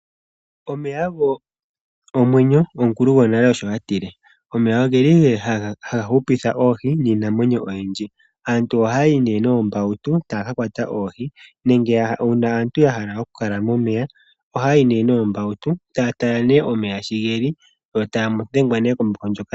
Omeya ogo omwenyo omukulu gwonale osho a tile. Omeya ogeli haga hupitha oohi niinamwenyo oyindji. Aantu ohaya yi nee noombautu taya kakwata oohi, nenge uuna aantu ya hala okukala momeya ohaya yi nee noombautu taya tala nee omeya sho geli.